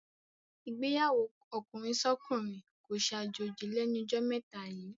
Ìgbéyàwó ọkùnrinsọ́kùnrin kó ṣàjòjì lẹ́nu jọ́ mẹ́ta yíì.